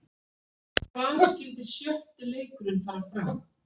Hvar skyldi sjötti leikurinn fara fram?